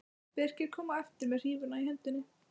Birkir kom á eftir með hrífuna í hendinni.